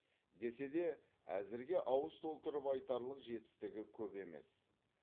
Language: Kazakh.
десе де әзірге ауыз толтырып айтарлық жетістігі көп емес